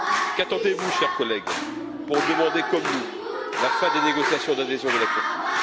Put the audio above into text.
Qu'attendez vous, chers collègues, pour demander, comme nous, la fin des négociations d'adhésion de la Turquie?